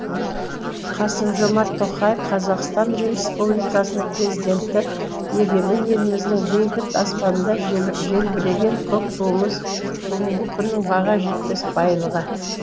қасым жомарт тоқаев қазақстан республикасының президенті егемен еліміздің бейбіт аспанында желбіреген көк туымыз бүгінгі күннің баға жетпес байлығы